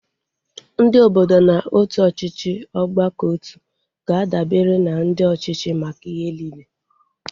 Ndị obodo na otu ọchịchị ọgbakọotu ga-adabere na ndị ọchịchị maka ihe niile